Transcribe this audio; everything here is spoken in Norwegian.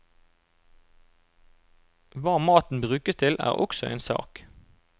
Hva maten brukes til er også en sak.